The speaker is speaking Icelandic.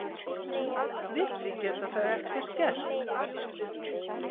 Við því geta þau ekkert gert!